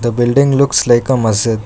The building looks like a masjid.